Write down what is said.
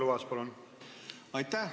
Aitäh!